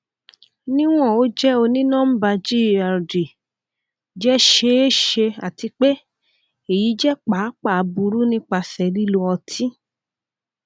niwon o jẹ onínọmbà gerd jẹ ṣeeṣe ati pe eyi jẹ paapaa buru nipasẹ lilo oti